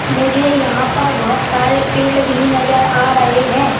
मुझे यहां पर बोहोत सारे पेड़ भी नजर आ रहे हैं।